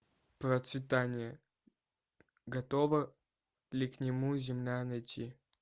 процветание готова ли к нему земля найти